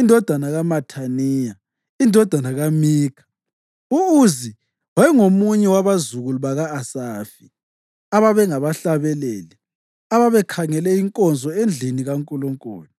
indodana kaMathaniya, indodana kaMikha. U-Uzi wayengomunye wabazukulu baka-Asafi, ababengabahlabeleli abakhangele inkonzo endlini kaNkulunkulu.